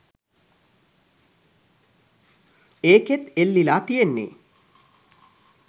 ඒකෙත් එල්ලිලා තියෙන්නේ